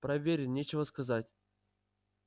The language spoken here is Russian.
проворен нечего сказать